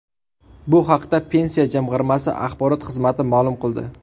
Bu haqda Pensiya jamg‘armasi axborot xizmati ma’lum qildi .